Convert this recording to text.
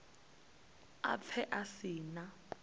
a pfe a si na